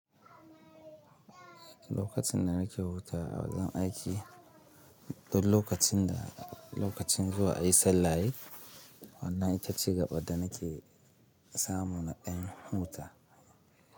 Lokacin da nake hutawa a wajen aiki duk lokacin da lokacin zuwa ayi sallah yayi, wannan ita ce gaɓar da nake samu na ɗan huta.